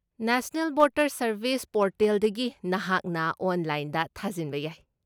National Voters Service ꯄꯣꯔꯇꯦꯜꯗꯒꯤ ꯅꯍꯥꯛꯅ ꯑꯣꯟꯂꯥꯏꯟꯗ ꯊꯥꯖꯤꯟꯕ ꯌꯥꯏ ꯫